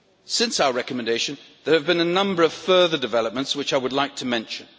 Since our recommendation there have been a number of further developments, which I would like to mention.